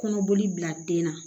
Kɔnɔboli bila den na